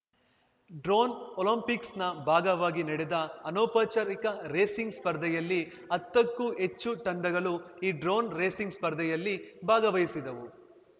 drone ಒಲಿಂಪಿಕ್ಸ್‌ನ ಭಾಗವಾಗಿ ನಡೆದ ಅನೌಪಚಾರಿಕ ರೇಸಿಂಗ್‌ ಸ್ಪರ್ಧೆಯಲ್ಲಿ ಹತ್ತಕ್ಕೂ ಹೆಚ್ಚು ತಂಡಗಳು ಈ ಡ್ರೋನ್‌ ರೇಸಿಂಗ್‌ ಸ್ಪರ್ಧೆಯಲ್ಲಿ ಭಾಗಹಿಸಿದವು